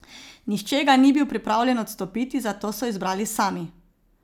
Nihče ga ni bil pripravljen odstopiti, zato so izbrali sami.